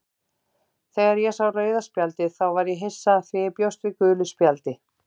Þegar ég sá rauða spjaldið þá var ég hissa því ég bjóst við gulu spjaldi,